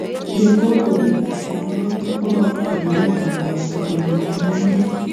Ye kongo bek kasit noton bo konoret ab borto konam kinandet